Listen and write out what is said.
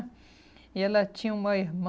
E ela tinha uma irmã.